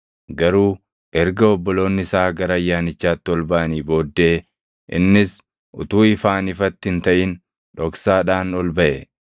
Garuu erga obboloonni isaa gara Ayyaanichaatti ol baʼanii booddee innis utuu ifaan ifatti hin taʼin dhoksaadhaan ol baʼe.